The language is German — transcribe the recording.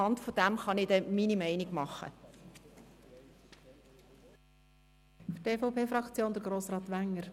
Anhand dessen kann ich mir dann auch meine Meinung bilden.